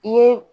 I ye